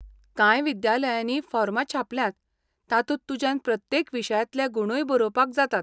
कांय विद्यालयांनी फॉर्मां छापल्यात, तातूंत तुज्यान प्रत्येक विशयांतले गुणूय बरोवपाक जातात.